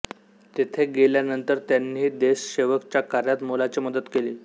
तेथे गेल्यानंतर त्यांनीही देशसेवक च्या कार्यात मोलाची मदत केली